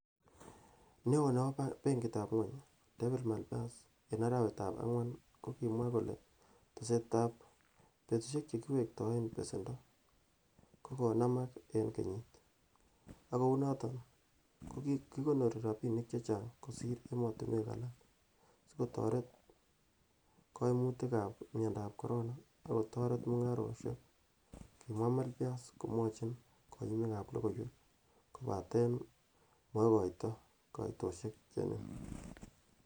Neo nebo benkitab Ngwony, David Malpass en arawetab angwan kokimwa kole tesetab betusiek che kiwektoen besendo kokonamaak en kenyit, ak kounoton ko kikonoori rabinik chechang kosir emotinwek alak sikoter koimutik ab miondab corona, ak kotoret mungarokchwak, kimwa Malphas komwochi koyumik ab logoiwek, kobaten mokoito koitosiek che nin.